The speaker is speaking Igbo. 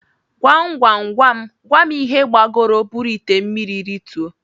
Gwam Gwam Gwam Gwam ihe gbagoro buru ite mmiri rituo?